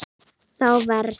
Þá verð